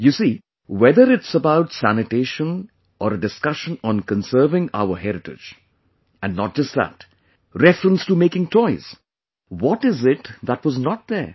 You see, whether it's about sanitation or a discussion on conserving our heritage; and not just that, reference to making toys, what is it that was not there